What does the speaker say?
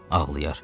Ağlayar.